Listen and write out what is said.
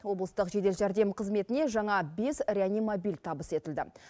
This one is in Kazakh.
облыстық жедел жәрдем қызметіне жаңа бес реанимобиль табыс етілді